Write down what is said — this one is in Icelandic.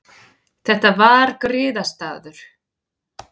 Þetta var griðastaður.